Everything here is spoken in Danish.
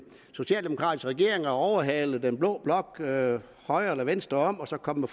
socialdemokratisk regering at overhale den blå blok højre eller venstre om og så komme